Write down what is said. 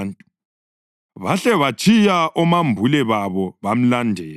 Bahle batshiya omambule babo bamlandela.